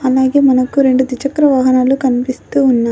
అలాగే మనకు రెండు ద్విచక్ర వాహనాలు కనిపిస్తూ ఉన్నాయి.